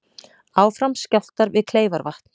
Áfram skjálftar við Kleifarvatn